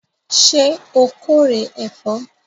Ṣé o kórè ẹ̀fọ́?